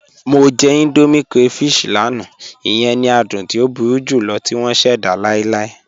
Mọ jẹ̀ Indomie crayfish lánà, iyẹn ni àdùn tí o búru julọ̀ tì wọn ṣẹda láìláì.